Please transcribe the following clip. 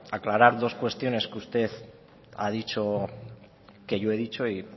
aclarar dos cuestiones que usted ha dicho que yo he dicho